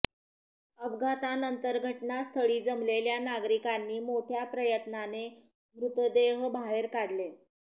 अपघातानंतर घटनास्थळी जमलेल्या नागरिकांनी मोठय़ा प्रयत्नाने मृतदेह बाहेर काढले